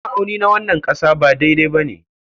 Ma'auni na wannan ƙasa ba daidai ba ne.